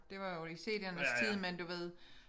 Det var jo i cd'ernes tid men du ved